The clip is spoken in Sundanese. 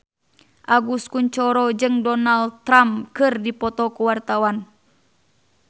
Agus Kuncoro jeung Donald Trump keur dipoto ku wartawan